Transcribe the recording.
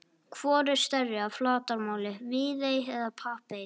Hvor er stærri að flatarmáli, Viðey eða Papey?